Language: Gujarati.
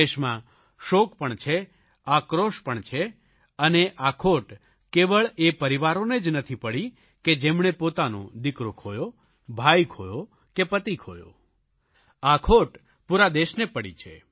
દેશમાં શોક પણ છે આક્રોશ પણ છે અને આ ખોટ કેવળ એ પરિવારોને જ નથી પડી કે જેમણે પોતાનો દીકરો ખોયો ભાઇ ખોયો કે પતિ ખોયો આ ખોટ પૂરા દેશને પડી છે